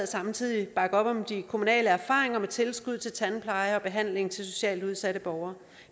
samtidig bakke op om de kommunale erfaringer med tilskud til tandpleje og behandling til socialt udsatte borgere